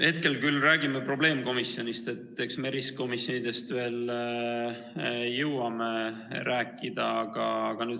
Hetkel me räägime küll probleemkomisjonist, aga eks me erikomisjonidest jõuame ka veel rääkida.